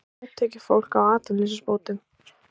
Hátekjufólk á atvinnuleysisbótum